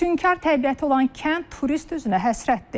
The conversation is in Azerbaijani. Füsunkar təbiəti olan kənd turist üzünə həsrətdir.